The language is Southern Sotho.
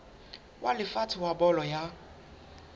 wa lefatshe wa bolo ya